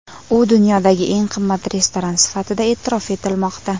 U dunyodagi eng qimmat restoran sifatida e’tirof etilmoqda.